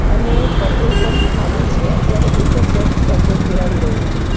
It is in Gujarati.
અને પેટ્રોલ પંપ ખાલી છે અત્યારે એકજ જણ પેટ્રોલ પુરાવી રહ્યુ છે.